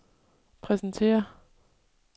præsentere